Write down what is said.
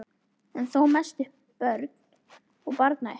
en þó mest um börn og barnauppeldi.